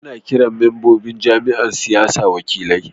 Ana kiran membobin jam'iyyar siyasa wakilai.